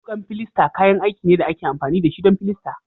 Wukan filasta kayan aiki ne da ake amfani da shi don filasta